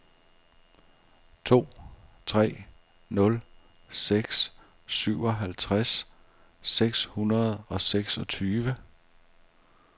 to tre nul seks syvoghalvtreds seks hundrede og seksogtyve